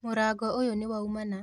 Mũrango ũyũ nĩwaumana